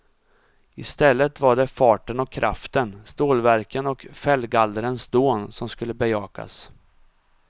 I stället var det farten och kraften, stålverken och fällgallrens dån som skulle bejakas.